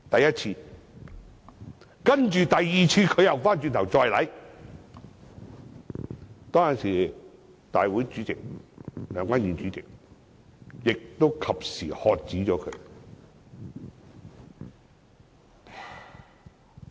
然後，第二次，他又轉頭再做，當時梁君彥主席亦及時喝止他。